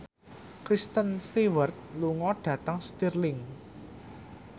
Kristen Stewart lunga dhateng Stirling